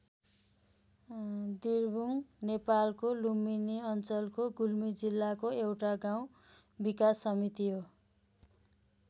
दिर्बुङ नेपालको लुम्बिनी अञ्चलको गुल्मी जिल्लाको एउटा गाउँ विकास समिति हो।